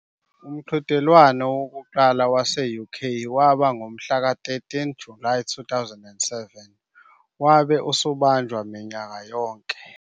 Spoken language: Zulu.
Umqhudelwano wokuqala wase-UK waba ngomhlaka 13 Julayi 2007, wabe usubanjwa minyaka yonke.